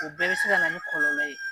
O bɛɛ bɛ se ka na ni kɔlɔlɔ ye.